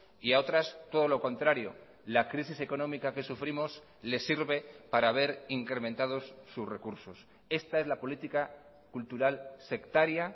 y a otras todo lo contrario la crisis económica que sufrimos les sirve para ver incrementados sus recursos esta es la política cultural sectaria